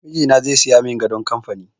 Mijina zai siya mun gadon kamfani